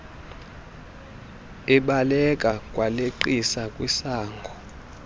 ebaleka waleqisa kwisango